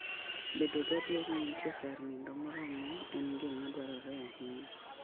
Bedo gadier ni nitie kar nindo moromo en gima dwarore ahinya.